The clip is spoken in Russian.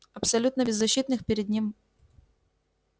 абсолютно беззащитных перед ним